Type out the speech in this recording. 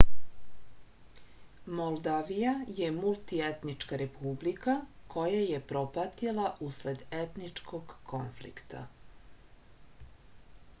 moldavija je multietnička republika koja je propatila usled etničkog konflikta